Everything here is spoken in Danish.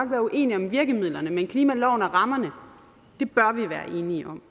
være uenige om virkemidlerne men klimaloven og rammerne bør vi være enige om